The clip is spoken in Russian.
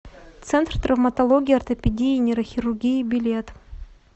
центр травматологии ортопедии и нейрохирургии билет